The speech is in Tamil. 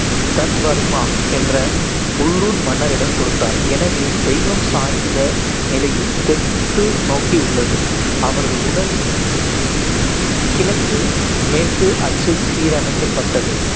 தர்வர்மா என்ற உள்ளூர் மன்னரிடம் கொடுத்தார். எனவே, தெய்வம் சாய்ந்த நிலையில் தெற்கு நோக்கி உள்ளது, அவரது உடல் கிழக்கு மேற்கு அச்சில் சீரமைக்கப்பட்டது